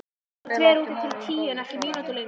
Þú mátt vera úti til tíu en ekki mínútu lengur.